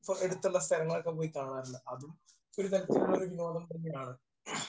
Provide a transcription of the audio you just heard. ഇപ്പോൾ അടുത്തുള്ള സ്ഥലങ്ങളൊക്കെ പോയി കാണാറുണ്ട്. അതും ഇപ്പോൾ ഒരു തരത്തിലുള്ള ഒരു വിനോദം തന്നെയാണ്.